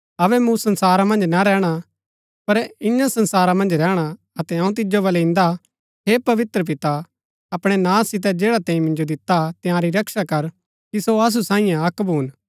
अबै मूँ संसारा मन्ज ना रैहणा पर ईयां संसारा मन्ज रैहणा अतै अऊँ तिजो बलै इन्दा हा हे पवित्र पिता अपणै नां सितै जैडा तैंई मिन्जो दिता हा तंयारी रक्षा कर कि सो असु सांईये अक्क भून